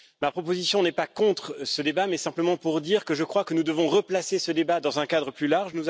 Ma proposition n'est pas contre ce débat, mais simplement pour dire que je crois que nous devons le replacer dans un cadre plus large.